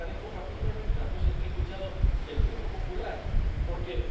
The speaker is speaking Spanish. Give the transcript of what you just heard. algo. Y por eso, agradezco particularmente las voces que he escuchado del Grupo Popular, porque